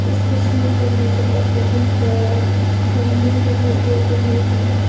इस तस्वीर पर मुझे एक बहुत बड़ा मंदिर दिखाई दे रही है।